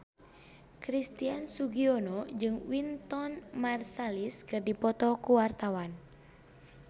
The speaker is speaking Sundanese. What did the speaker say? Christian Sugiono jeung Wynton Marsalis keur dipoto ku wartawan